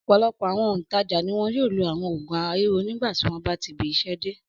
Ọ̀pọ̀lọpọ̀ àwọn òǹtajà ni wọn yóò lo àwọn òògùn ara ríro nígbà tí wọ́n bá tibi iṣẹ́ dé.